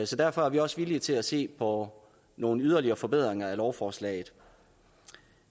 så derfor er vi også villige til at se på nogle yderligere forbedringer af lovforslaget